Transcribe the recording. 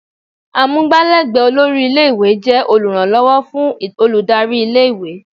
Amugbalegbe olórí ilé-ìwé jẹ́ oluranlowo fún olùdarí ilé-ìwé.